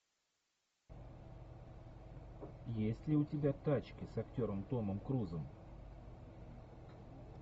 есть ли у тебя тачки с актером томом крузом